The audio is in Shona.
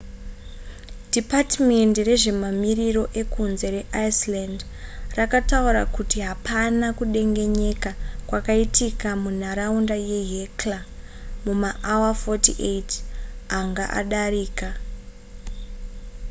dhipatimendi rezvemamiriro ekunze reiceland rakataura kuti hapana kudengenyeka kwakaitika munharaunda yehekla mumaawa 48 anga adarika